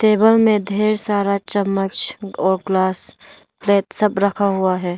Table में ढेर सारा चम्मच और ग्लास प्लेट सब रखा हुआ है।